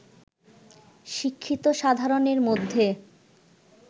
শিক্ষিত সাধারণের মধ্যে